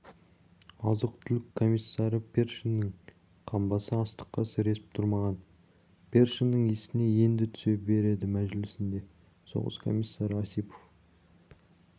азық-түлік комиссары першиннің қамбасы астыққа сіресіп тұрмаған першиннің есіне енді түсе береді мәжілісінде соғыс комиссары осипов